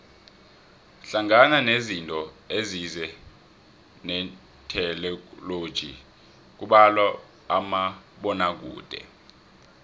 hlangana nezinto ezize netheknoloji kubalwa umabonakude